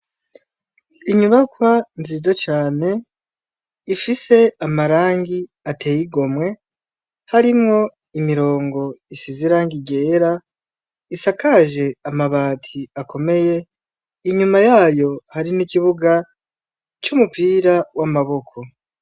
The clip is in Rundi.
Inyubakwa nziza cane , ifise amarangi atey'igomwe, harimwo imirongo isiz'irangi ryera , isakaje amabati akomeye, inyuma yayo hari n'ikibuga ,c'umupira w'amboko.